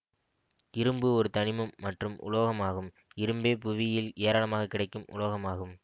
இரும்பு ஒரு தனிமம் மற்றும் உலோகம் ஆகும் இரும்பே புவியில் ஏராளமாக கிடைக்கும் உலோகம் ஆகும்